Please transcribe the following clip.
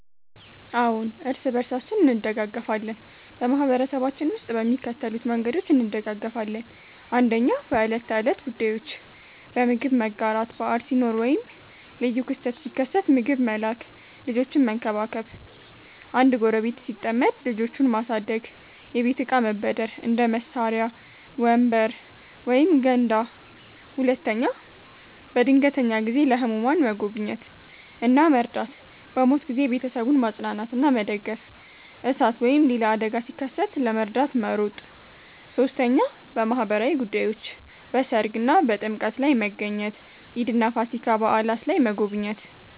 አዎን፣ እርስ በርሳችን እንደጋገፋለን በማህበረሰባችን ውስጥ በሚከተሉት መንገዶች እንደጋገፋለን፦ 1. በዕለት ተዕለት ጉዳዮች · በምግብ መጋራት – በዓል ሲኖር ወይም ልዩ ክስተት ሲከሰት ምግብ መላክ · ልጆችን መንከባከብ – አንድ ጎረቤት ሲጠመድ ልጆቹን ማሳደግ · የቤት እቃ መበደር – እንደ መሳሪያ፣ ወንበር ወይም ገንዳ 2. በድንገተኛ ጊዜ · ለህሙማን መጎብኘት እና መርዳት · በሞት ጊዜ ቤተሰቡን ማጽናናትና መደገፍ · እሳት ወይም ሌላ አደጋ ሲከሰት ለመርዳት መሮጥ 3. በማህበራዊ ጉዳዮች · በሠርግ እና በጥምቀት ላይ መገኘት · ኢድ እና ፋሲካ በዓላት ላይ መጎብኘት